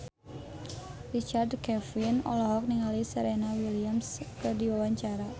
Richard Kevin olohok ningali Serena Williams keur diwawancara